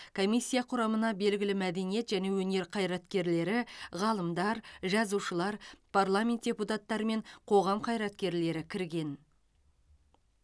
комиссия құрамына белгілі мәдениет және өнер қайраткерлері ғалымдар жазушылар парламент депутаттары мен қоғам қайраткерлері кірген